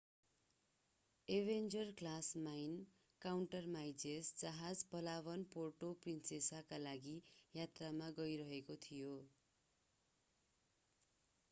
Avenger class mine countermeasures जहाज Palawan Puerto प्रिन्सेसाका लागि यात्रामा गइरहेको थियो